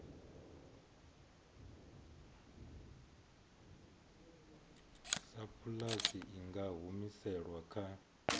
sapulasi i nga humiselwa kha